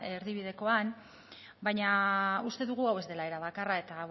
erdibidekoan baina uste dugu hau ez dela era bakarra eta